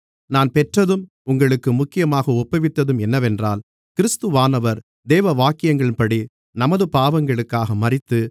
நான் பெற்றதும் உங்களுக்கு முக்கியமாக ஒப்புவித்ததும் என்னவென்றால் கிறிஸ்துவானவர் வேதவாக்கியங்களின்படி நமது பாவங்களுக்காக மரித்து